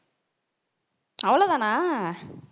அவ்வளவுதானா